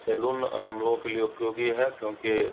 salon हमलोगो के लिए उपयोगी है क्योंकि --